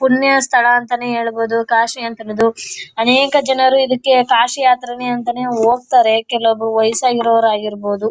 ಪುಣ್ಯಸ್ಥಳ ಅಂತಾನೆ ಹೇಳ್ಬಹುದು. ಕಾಶಿ ಅಂತರದು ಅನೇಕ ಜನರು ಇದಕೆ ಕಾಶಿ ಯಾತ್ರೆನೇ ಹೋಗ್ತಾರೆ. ಕೆಲವರು ವಯಸ್ ಆಗಿರವರ್ ಆಗಿರಬಹುದು.